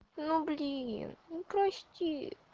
ну блин ну прости